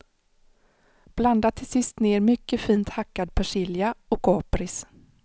Blanda till sist ned mycket fint hackad persilja och kapris.